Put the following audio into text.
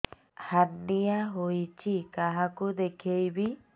hernia ହୋଇଛି କାହାକୁ ଦେଖେଇବି